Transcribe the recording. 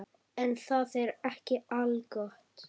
En það er ekki algott.